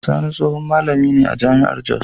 Sani tsohon malami ne a jami'ar Jos.